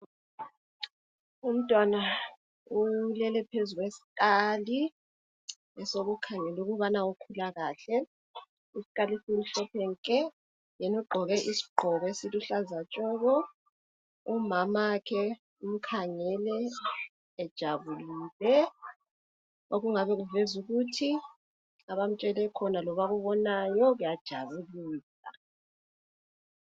Umntwana ulele phezu kwesikali ,esokukhangela ukubana ukhula kuhle. Isikali esimhlophe nke! Yena ugqoke isigqoko esiluhlaza tshoko..Umamakhe umkhangele ejabulile. Okungabe kuveza ukuthi abamtshele khona, kumbe akubonayo, kuyajabulisa.